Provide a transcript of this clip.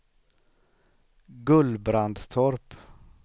Gullbrandstorp